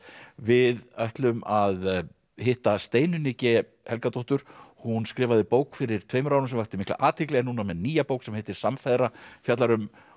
við ætlum að hitta Steinunni g Helgadóttur hún skrifaði bók fyrir tveimur árum sem vakti mikla athygli er nú með nýja bók sem heitir samfeðra fjallar um